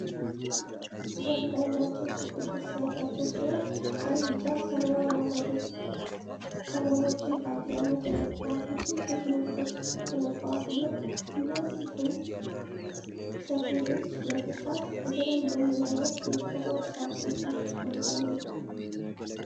ያንዳንዳቸው ክብ ቅርጽ ያላቸው ሲሆን ቀይ፣ ቢጫ፣ ሰማያዊ እና አረንጓዴ ቀለሞችን በአብዛኛው ተጠቅመው ውስብስብ ንድፎች ተነድፈዋል። እነዚህን ሰፌዶች ለመሥራት በተለምዶ ምን ዓይነት የተፈጥሮ ቁሳቁሶች ጥቅም ላይ ይውላሉ?